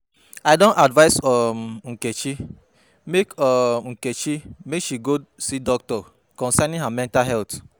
I don advice um Nkechi make um Nkechi make she go see doctor concerning her mental health